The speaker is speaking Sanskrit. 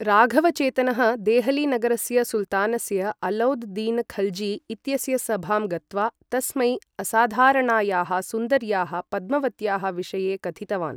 राघवचेतनः देहली नगरस्य सुल्तानस्य अलौद् दीन खल्जी इत्यस्य सभां गत्वा तस्मै असाधारणायाः सुन्दर्याः पद्मवत्याः विषये कथितवान्।